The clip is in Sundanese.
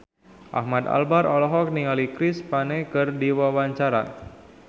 Ahmad Albar olohok ningali Chris Pane keur diwawancara